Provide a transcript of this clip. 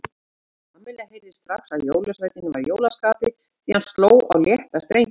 Kamilla heyrði strax að jólasveinninn var í jólaskapi því hann sló á létta strengi.